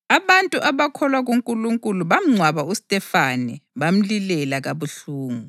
Abantu abakholwa kuNkulunkulu bamngcwaba uStefane bamlilela kabuhlungu.